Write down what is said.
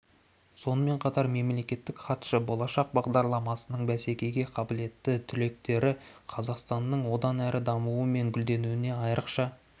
сонымен қатар мемлекеттік хатшы болашақ бағдарламасының бәсекеге қабілетті түлектері қазақстанның одан әрі дамуы мен гүлденуіне айрықша